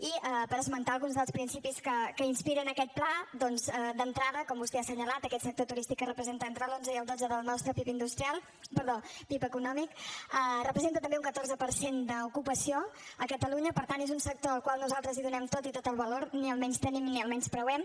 i per esmentar alguns dels principis que inspiren aquest pla doncs d’entrada com vostè ha assenyalat aquest sector turístic que representa entre l’onze i el dotze del nostre pib econòmic representa també un catorze per cent d’ocupació a catalunya per tant és un sector al qual nosaltres hi donem tot i tot el valor ni el menystenim ni el menyspreem